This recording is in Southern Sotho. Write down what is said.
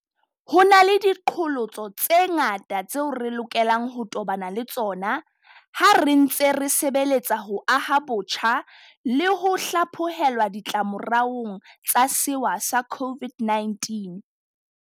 Ho na le diqholotso tse ngata tseo re lokelang ho tobana le tsona ha re ntse re sebeletsa ho aha botjha le ho hlaphohelwa ditlamoraong tsa sewa sa COVID-19.